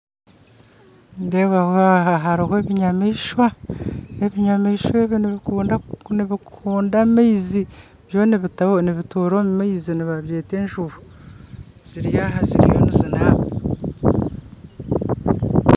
Nindeebaho aha hariho ebinyamishwa, ebinyamishwa ebi nibikunda amaizi byo nibituura omu maizi nibabyeta enjubu ziri aha ziriyo nizinaaba